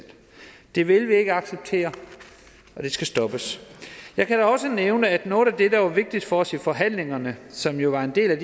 det vil vi ikke acceptere og det skal stoppes jeg kan da også nævne at noget af det der var vigtigt for os i forhandlingerne som jo var en del af